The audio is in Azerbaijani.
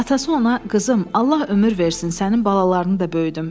Atası ona: Qızım, Allah ömür versin sənin balalarını da böyüdüm.